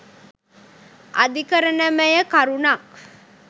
අධිකරණමය කරුණක්